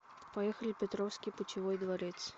поехали петровский путевой дворец